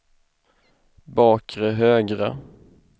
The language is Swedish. bakre högra